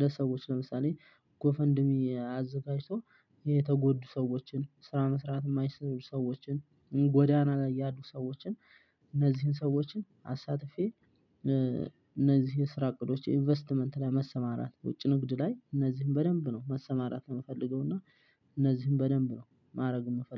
ለሰዎች ለምሳሌ ጎፈንድሚ አዘጋጅቶ የተጎዱ ሰዎችን ስራ መስራት የማይሰሩ ሰዎችን ጎዳና ላይ ያሉ ሰዎችን። እነዚህን ሰዎችን አሳትፌ እነዚህን ስራ እቅዶች ኢንቨስትመንት ላይ መሰማራት ውጪ ንግድ ላይ እነዚህን በደንብ ነው መሰማራት የምፈልገው። እና እነዚህን በደንብ ነው ማድረግ የምፈልገው